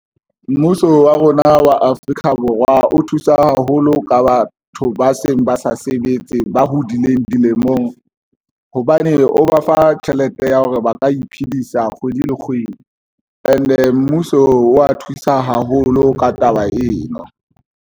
Mmuso wa rona wa Afrika Borwa o thusa haholo ka batho ba seng ba sa sebetse, ba hodileng dilemong hobane o ba fa tjhelete ya hore ba ka iphedisa kgwedi le kgwedi. And-e mmuso wa thusa haholo ka taba eno.